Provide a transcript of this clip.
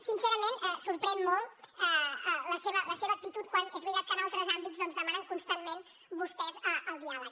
sincerament sorprèn molt la seva la seva actitud quan és veritat que en altres àmbits doncs demanen constantment vostès el diàleg